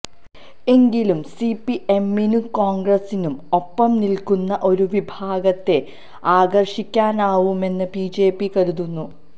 എങ്കിലും സിപിഎമ്മിനും കോണ്ഗ്രസിനും ഒപ്പം നില്ക്കുന്ന ഒരു വിഭാഗത്തെ ആകര്ഷിക്കാനാവുമെന്ന് ബിജെപി കരുതുന്നു